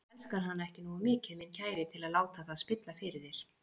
Þú elskar hana ekki nógu mikið, minn kæri, til að láta það spilla fyrir þér.